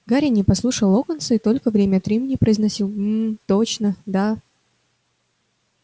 гарри не слушал локонса и только время от времени произносил мм точно да